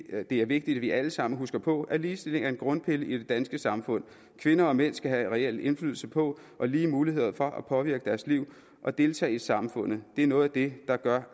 at det er vigtigt at vi alle sammen husker på at ligestilling er en grundpille i det danske samfund kvinder og mænd skal have reel indflydelse på og lige muligheder for at påvirke deres liv og at deltage i samfundet det er noget af det der gør